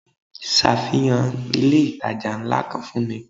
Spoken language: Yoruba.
Safihan ilé itàjà ńlá kan fún mi.